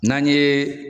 N'an ye